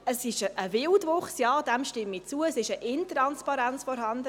Es handelt sich um einen Wildwuchs – dem stimme ich zu –, es ist eine Intransparenz vorhanden.